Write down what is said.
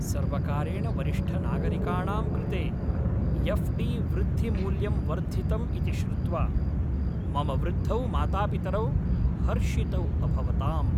सर्वकारेण वरिष्ठनागरिकाणां कृते एफ़्.डी. वृद्धिमूल्यं वर्धितम् इति श्रुत्वा मम वृद्धौ मातापितरौ हर्षितौ अभवताम्।